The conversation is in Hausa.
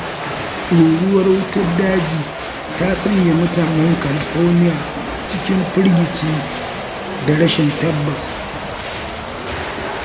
Ruruwar wutar daji ta sanya mutanen Kalifoniya cikin firgici da rashin tabbas.